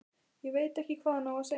Veit ekki hvað hann á að segja.